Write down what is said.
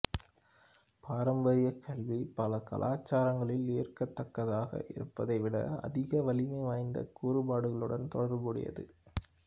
பாரம்பரிய கல்வி பல கலாச்சாரங்களில் ஏற்கத்தக்கதாக இருப்பதைவிட அதிக வலிமை வாய்ந்த கூறுபாடுகளுடன் தொடர்புடையது